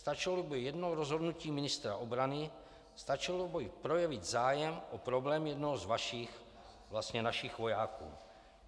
Stačilo by jedno rozhodnutí ministra obrany, stačilo by projevit zájem o problém jednoho z vašich, vlastně našich vojáků.